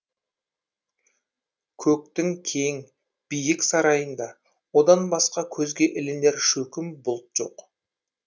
көктің кең биік сарайында одан басқа көзге ілінер шөкім бұлт жоқ